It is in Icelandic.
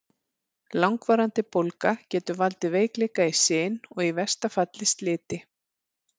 Langvarandi bólga getur valdið veikleika í sin og í versta falli sliti.